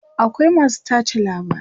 akwai masu tace labarai